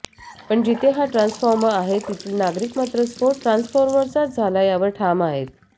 पण जिथे हा ट्रान्सफॉर्मर आहे तेथील नागरिक मात्र स्फोट ट्रान्सफॉर्मरचाच झाला यावर ठाम आहेत